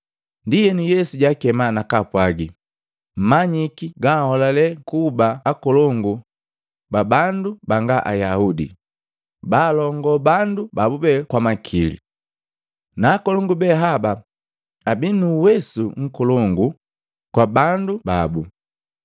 Ndienu, Yesu jaakema, nakapwagi, “Mmanyiki baaholale kuba akolongu babandu banga Ayaudi, baalongoo bandu babu kwa makili. Na akolongu behaba abii nu uwesu nkolongu kwa bandu babu.